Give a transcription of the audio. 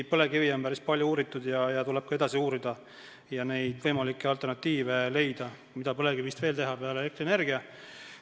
Põlevkivi on päris palju uuritud ja tuleb ka edasi uurida ning leida võimalikke alternatiive, mida põlevkivist veel saab toota peale elektrienergia.